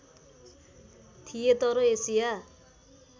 थिए तर एसिया